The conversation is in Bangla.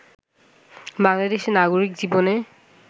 বাংলাদেশের নাগরিক জীবনে